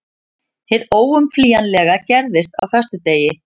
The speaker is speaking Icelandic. Hið óumflýjanlega gerðist á föstudegi.